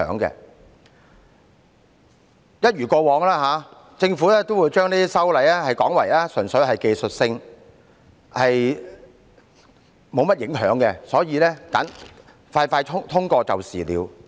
一如既往，政府也會把這類修例說成是純粹屬技術性質，無甚影響，因此迅速通過便是了。